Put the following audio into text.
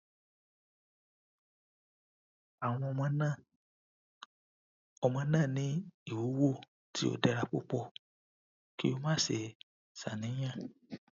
awọn ọmọ naa ọmọ naa ni iwuwo ti o dara pupọ ki o má ṣe ṣàníyàn